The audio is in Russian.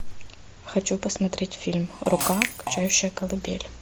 хочу посмотреть фильм рука качающая колыбель